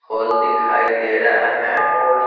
Whole दिखाई दे रहा है।